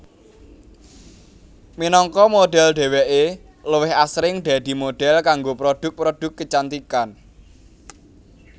Minangka modhel dheweké luwih asring dadi modhel kanggo produk produk kecantikan